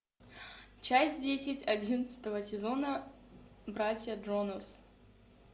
часть десять одиннадцатого сезона братья джонас